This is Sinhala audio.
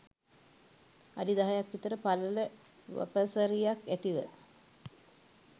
අඩි දහයක් විතර පළල වපසරියක් ඇතිව